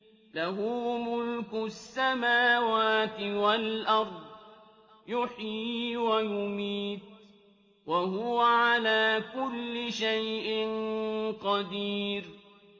لَهُ مُلْكُ السَّمَاوَاتِ وَالْأَرْضِ ۖ يُحْيِي وَيُمِيتُ ۖ وَهُوَ عَلَىٰ كُلِّ شَيْءٍ قَدِيرٌ